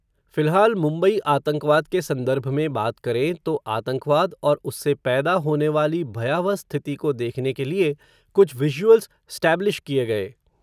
फिलहाल, मुंबई आतंकवाद के संदर्भ में बात करें, तो आतंकवाद, और उससे पैदा होनेवाली, भयावह स्थिति को देखने के लिए, कुछ विज़ुअल्स स्टैब्लिश किए गए